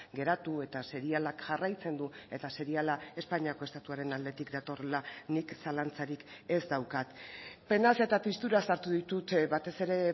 geratu eta serialak jarraitzen du eta seriala espainiako estatuaren aldetik datorrela nik zalantzarik ez daukat penaz eta tristuraz hartu ditut batez ere